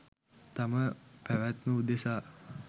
තම පැවැත්ම උදෙසා